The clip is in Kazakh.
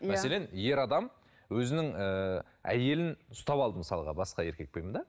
мәселен ер адам өзінің ыыы әйелін ұстап алды мысалға басқа еркекпен да